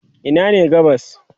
Ina ne gabas?